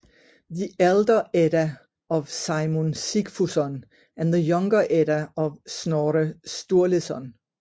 The Elder Edda of Saemund Sigfusson and the Younger Edda of Snorre Sturleson